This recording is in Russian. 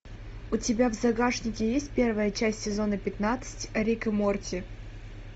у тебя в загашнике есть первая часть сезона пятнадцать рик и морти